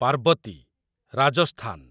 Parvati, Rajasthan